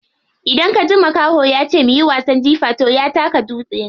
Idan kaji makaho yace muyi wasan jifa toh ya taka dutse ne.